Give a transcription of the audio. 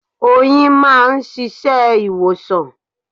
Oyin máa ń ṣiṣẹ́ ìwòsàn.